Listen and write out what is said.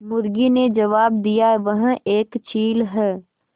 मुर्गी ने जबाब दिया वह एक चील है